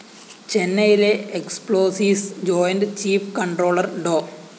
ചെന്നെയിലെ explosives joint chief controller Dr